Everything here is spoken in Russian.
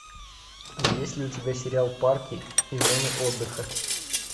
есть ли у тебя сериал парки и зоны отдыха